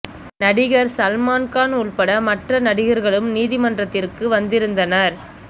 நடிகர் சல்மான் கான் உட்பட மற்ற நடிகர்களும் நீதிமன்றத்திற்கு வந்திருந்தனர்